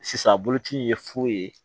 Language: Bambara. Sisan a boloci ye fu ye